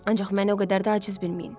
Ancaq məni o qədər də aciz bilməyin.